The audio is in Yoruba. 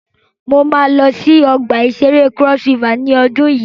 Mo máa lọ sí ọgbà ìṣẹré Cross River ní ọdun yìí.